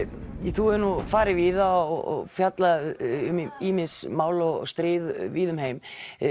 þú hefur farið víða og fjallað um ýmis mál og stríð víða um heim